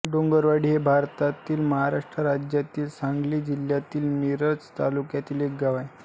डोंगरवाडी हे भारतातील महाराष्ट्र राज्यातील सांगली जिल्ह्यातील मिरज तालुक्यातील एक गाव आहे